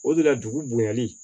O de la dugu bonyali